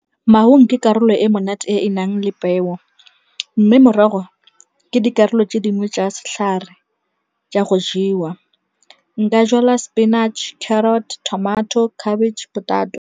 Maungo ke karolo e monate e e nang le peo mme morago ke dikarolo tse dingwe jwa setlhare jwa go jewa nka jala sepinatšhe, carrot-e tamati le khabetšhe.